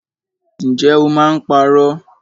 Ǹjẹ́ o máa ń parọ́?